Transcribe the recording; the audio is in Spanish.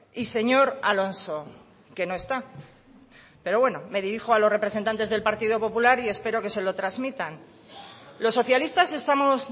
y señor alonso que no está pero bueno me dirijo a los representantes del partido popular y espero que se lo transmitan los socialistas estamos